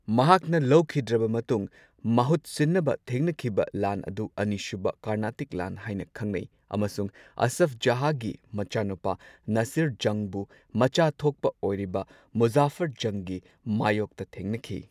ꯃꯍꯥꯛꯅ ꯂꯩꯈꯤꯗ꯭ꯔꯕ ꯃꯇꯨꯡ ꯃꯍꯨꯠꯁꯤꯟꯅꯕ ꯊꯦꯡꯅꯈꯤꯕ ꯂꯥꯟ ꯑꯗꯨ ꯑꯅꯤꯁꯨꯕ ꯀꯔꯅꯥꯇꯤꯛ ꯂꯥꯟ ꯍꯥꯏꯅ ꯈꯪꯅꯩ ꯑꯃꯁꯨꯡ ꯑꯁꯐ ꯖꯍꯥꯒꯤ ꯃꯆꯥꯅꯨꯄꯥ ꯅꯥꯁꯤꯔ ꯖꯪꯕꯨ ꯃꯆꯥꯊꯣꯛꯄ ꯑꯣꯏꯔꯤꯕ ꯃꯨꯖꯥꯐꯔ ꯖꯪꯒꯤ ꯃꯥꯏꯌꯣꯛꯇ ꯊꯦꯡꯅꯈꯤ꯫